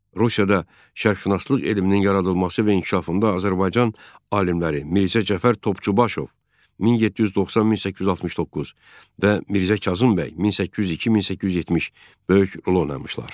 Rusiyada şərqşünaslıq elminin yaradılması və inkişafında Azərbaycan alimləri Mirzə Cəfər Topçubaşov (1790-1869) və Mirzə Kazım bəy (1802-1870) böyük rol oynamışlar.